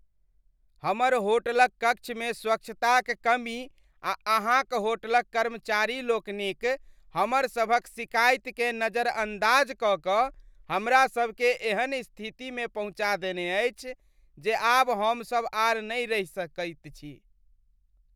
हमर होटलक कक्षमे स्वच्छताक कमी आ अहाँक होटलक कर्मचारीलोकनिक हमरसभक शिकायतकेँ नजरअंदाज कऽ कऽ हमरा सभकेँ एहन स्थितिमे पहुँचा देने अछि जे आब हमसभ आर नहि रहि सकैत छी।